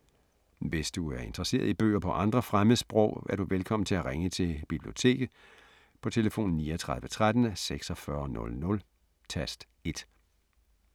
Hvis du er interesseret i bøger på andre fremmedsprog, er du velkommen til at ringe til Biblioteket på tlf. 39 13 46 00, tast 1.